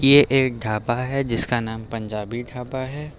ये एक ढाबा है जिसका नाम पंजाबी ढाबा है।